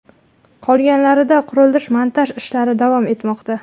Qolganlarida qurilish-montaj ishlari davom etmoqda.